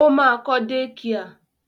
Ó ma kọ́ dékià.